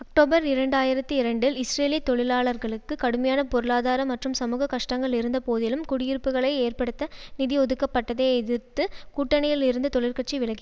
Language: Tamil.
அக்டோபர் இரண்டாயிரத்தி இரண்டில் இஸ்ரேலிய தொழிலாளர்களுக்கு கடுமையான பொருளாதார மற்றும் சமூக கஷ்டங்கள் இருந்தபோதிலும் குடியிருப்புக்களை ஏற்படுத்த நிதி ஒதுக்கப்பட்டதை எதிர்த்து கூட்டணியில் இருந்து தொழிற்கட்சி விலகி